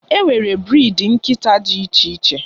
E nwere briidi nkịta dị iche iche.